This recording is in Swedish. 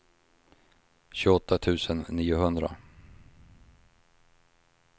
tjugoåtta tusen niohundra